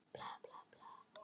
Okkur leið ákaflega vel.